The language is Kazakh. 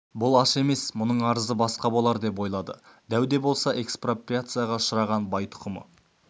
бұл аш емес мұның арызы басқа болар деп ойлады дәу де болса экспроприацияға ұшыраған бай тұқымы